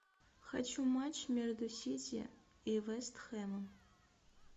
хочу матч между сити и вест хэмом